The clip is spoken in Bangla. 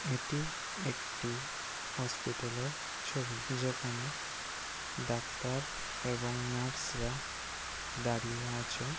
এটি একটি হসপিটাল এর ছবি যেখানে ডাক্তার এবং নার্স রা দাঁড়িয়ে আছে--